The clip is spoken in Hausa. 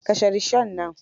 Kashe rishon nan.